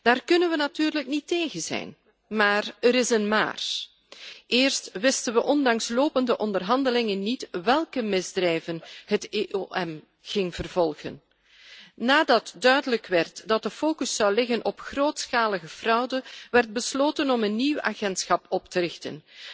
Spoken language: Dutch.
Daar kunnen we natuurlijk niet tegen zijn, maar er is een maar. Eerst wisten we ondanks lopende onderhandelingen niet welke misdrijven het EOM ging vervolgen. Nadat duidelijk werd dat de focus zou liggen op grootschalige fraude, werd besloten om een nieuw agentschap op te richten.